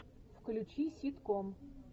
включи ситком